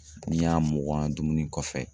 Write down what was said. N'i y'a mugan dumuni kɔfɛ